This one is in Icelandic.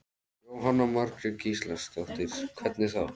Jóhanna Margrét Gísladóttir: Hvernig þá?